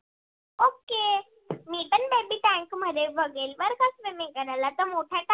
त मोठ्या tank मध्ये बघेन swimming करायला